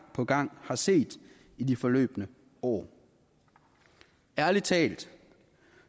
på gang har set i de forløbne år ærlig talt